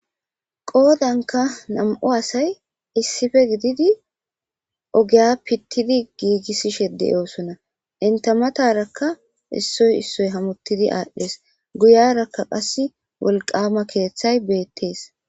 Qoodanka nam'u asay issipe gididi ogiya pittidi giigisishe de'osona. Enta matara issoy issoy hametidi aadhes. Guyaraka qasse keethay beetees.